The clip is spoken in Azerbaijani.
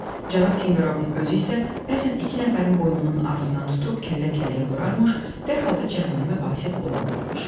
Cənab Finqerovun özü isə bəzən iki nəfərin boynunun ardınaan tutub kəllə-kəlləyə vurarmış, dərhal da cəhənnəmə vasil olarlarmış.